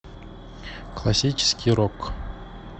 классический рок